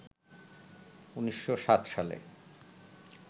১৯০৭ সালে